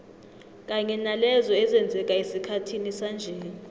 kanye nalezo ezenzeka esikhathini sanje